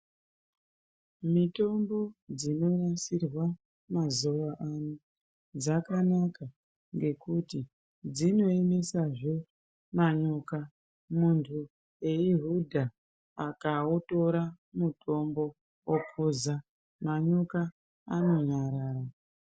Mitombo dzinonasirwa mazuwa ano dzakanaka ngekuti dzinoemdsazve manyoka, muntu eihudha akautora mutombo okuza manyoka anonyarara.